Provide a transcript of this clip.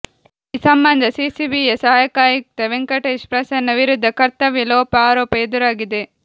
ಈ ಸಂಬಂಧ ಸಿಸಿಬಿಯ ಸಹಾಯಕ ಆಯುಕ್ತ ವೆಂಕಟೇಶ್ ಪ್ರಸನ್ನ ವಿರುದ್ಧ ಕರ್ತವ್ಯ ಲೋಪ ಆರೋಪ ಎದುರಾಗಿದೆ